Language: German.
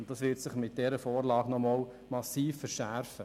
Dieses wird sich mit dieser Vorlage nochmals massiv verschärfen.